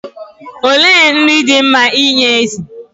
Olee nri dị mma inye ezi?